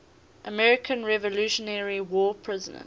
american revolutionary war prisoners